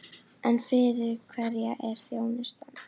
En fyrir hverja er þjónustan?